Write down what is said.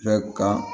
Bɛɛ kan